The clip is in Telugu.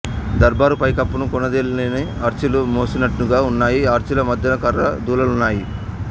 దర్బారు పైకప్పును కొనదేలిన ఆర్చిలు మోస్తున్నట్లుగా ఉన్నాయి ఆర్చిల మధ్యన కర్ర దూలాలున్నాయి